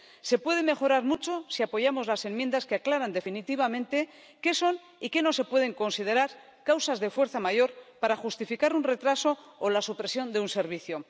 Se puede mejorar mucho si apoyamos las enmiendas que aclaran definitivamente qué son y qué no se pueden considerar causas de fuerza mayor para justificar un retraso o la supresión de un servicio.